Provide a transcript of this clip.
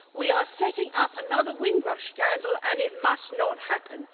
We are setting up another Windrush scandal and it must not happen.